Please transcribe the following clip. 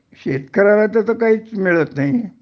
शेतकऱ्याला तर तर काहीच मिळत नाहीए